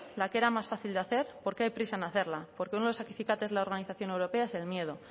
la que era más fácil de hacer porque hay prisa en hacerla porque uno de los acicates en la organización europea es el miedo